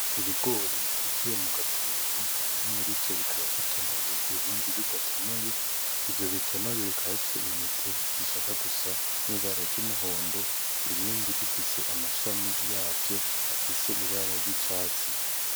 Ibigori bitekeye mugatebo bimwe murivyo bikaba bitonoye, ibindi bidatonoye. Ivyo bitonoye bikaba bifise intete zishaka gusa nibara ry'umuhondo, ibindi bifise amashami yavyo afise ibara ry'icatsi.